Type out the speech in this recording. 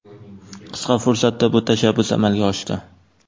Qisqa fursatda bu tashabbus amalga oshdi.